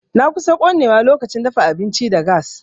Na kusan konewa lokacin dafa abinci da gas.